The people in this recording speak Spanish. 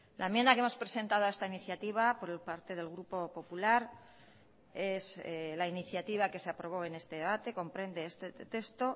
la enmienda que hemos presentado a esta iniciativa por parte del grupo popular es la iniciativa que se aprobó en este debate comprende este texto